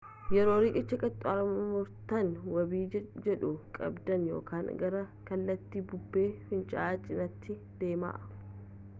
yoo riqicha qaxxaamurtan wabii jiidhuu qabdan yookaan gara kallattii bubbee fincaa'aa cinaatti deemaa